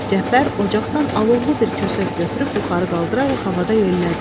Cəfər ocaqdan alovlu bir kösöv götürüb yuxarı qaldıraraq havada yellədi.